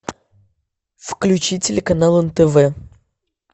включи телеканал нтв